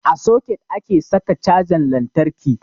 A soket ake saka cajan lantarki